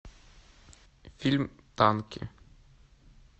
фильм танки